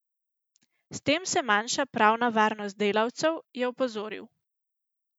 S tem se manjša pravna varnost delavcev, je opozoril.